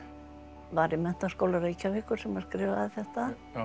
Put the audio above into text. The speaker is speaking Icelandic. var í Menntaskóla Reykjavíkur sem hann skrifaði þetta